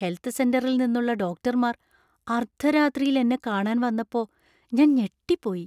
Health സെന്ററിൽ നിന്നുള്ള ഡോക്ടർമാർ അർദ്ധരാത്രിയിൽ എന്നെ കാണാൻ വന്നപ്പോ ഞാൻ ഞെട്ടിപ്പോയി.